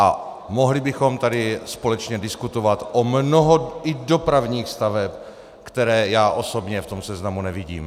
A mohli bychom tady společně diskutovat i o mnoho dopravních staveb, které já osobně v tom seznamu nevidím.